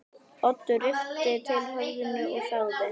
Oddur rykkti til höfðinu og þagði.